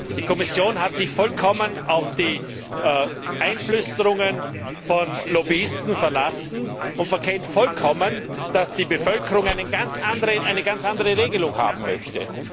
Die Kommission hat sich vollkommen auf die Einflüsterungen von Lobbyisten verlassen und verkennt vollkommen, dass die Bevölkerung eine ganz andere Regelung haben möchte.